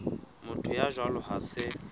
motho ya jwalo ha se